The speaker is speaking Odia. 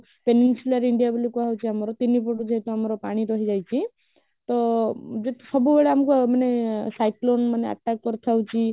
peninsular ଇଣ୍ଡିଆ ବୋଲି କୁହା ହୋଉଛି ଆମର ତିନି foot ଯେହେତୁ ଆମର ପାଣି ରହି ଯାଇଛି ତ ସବୁ ବେଳେ ଆମକୁ ମାନେ cyclone ମାନେ attack କରୁଥାଉଛି